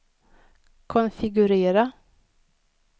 konfigurera